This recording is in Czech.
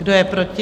Kdo je proti?